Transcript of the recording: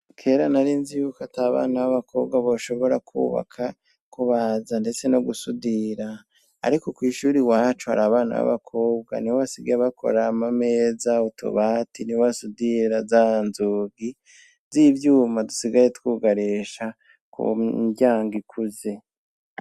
Kera narinzi yuko atabana b'abakobwa boshobora kwubaka, kubaza ndetse no gusudira. Ariko kw'ishure iwacu hari abana b'abakobwa, nibo basigaye bakora amameza, utubati, nibo basudira za nzugi z'ivyuma dusigaye twugarisha ku miryango ikuze.